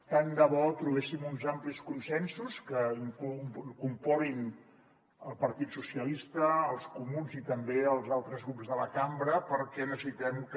tant de bo trobéssim uns amplis consensos que incorporin el partit socialistes els comuns i també els altres grups de la cambra perquè necessitem que